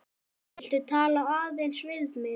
Viltu tala aðeins við mig.